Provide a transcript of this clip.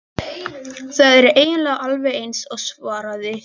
Þær eru eiginlega alveg eins svaraði Stjáni.